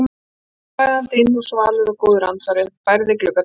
Sólskinið kom flæðandi inn og svalur og góður andvari bærði gluggatjöldin.